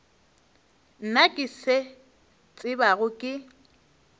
nna ke se tsebago ke